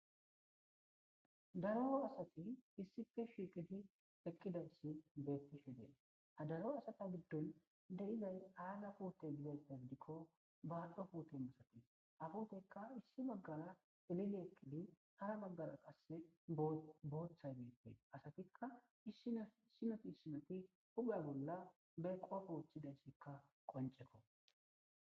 Daro asati issife shiqidi eqqidayssi beettishidee hadaro asata giddun derizay aaga puute gibes degdikko baaxo puute masati afutekka issi baggara elile eqqidi ara baggara qasse booththay bette asatikka iissinofi issinoti hube bolla be qoafooththidaysekka qoncekko.